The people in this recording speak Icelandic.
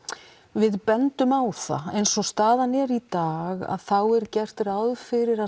við bendum á það eins og staðan er í dag þá er gert ráð fyrir að